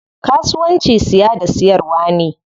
Kasuwanci siya da siyarwa ne.